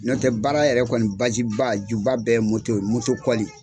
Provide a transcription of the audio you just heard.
N'o tɛ baara yɛrɛ kɔni baziba juba bɛɛ ye ye kɔli.